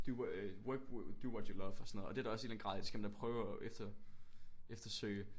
Do øh work do what you love og sådan noget og det er der også en eller anden grad af det skal man da prøve at efter eftersøge